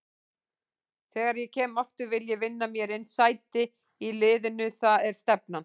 Þegar ég kem aftur vil ég vinna mér inn sæti í liðnu, það er stefnan.